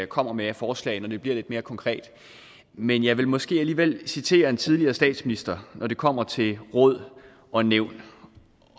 kommer med af forslag når det bliver lidt mere konkret men jeg vil måske alligevel citere en tidligere statsminister når det kommer til råd og nævn